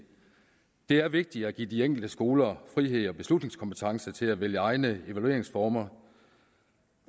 det er vigtigt at give de enkelte skoler frihed og beslutningskompetence til at vælge egne evalueringsformer